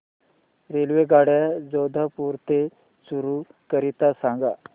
रेल्वेगाड्या जोधपुर ते चूरू करीता सांगा